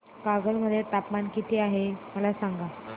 कागल मध्ये तापमान किती आहे मला सांगा